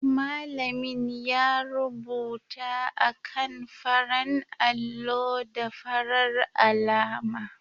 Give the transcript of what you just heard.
Malamin ya rubuta a kan faran allo da farar alama